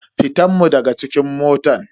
Fitan mun daga cikin mota.